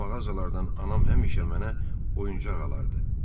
Bu mağazalardan anam həmişə mənə oyuncaq alardı.